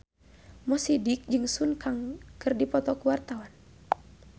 Mo Sidik jeung Sun Kang keur dipoto ku wartawan